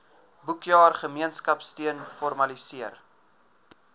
boekjaar gemeenskapsteun formaliseer